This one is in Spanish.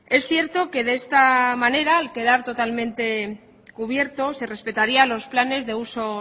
es cierto que de esta manera al quedar totalmente cubierto se respetaría los planes de usos